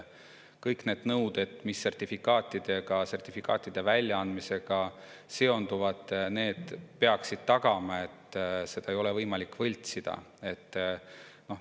Kõik need nõuded, mis sertifikaatide väljaandmisega seonduvad, peaksid tagama, et seda ei ole võimalik võltsida.